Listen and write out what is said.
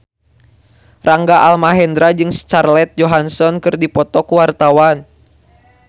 Rangga Almahendra jeung Scarlett Johansson keur dipoto ku wartawan